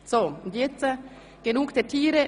Aber jetzt genug der Tiere.